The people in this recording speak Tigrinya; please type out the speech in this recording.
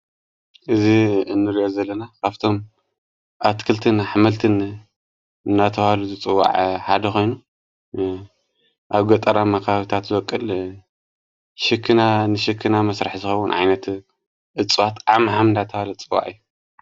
እዙ እንልዮ ዘለና ካፍቶም ኣትክልትን ኅመልትን እናተዋሉ ዘጽዋዐ ሓደ ኾይኑ ኣብ ገጠራ መካብታት ዘወቅል ሽክና ንሽክና መሥራሕ ዝኸዉን ዓይነት እጽዋት ዓም ሃምናተዋሉ ዝጽዋዕ እዩ።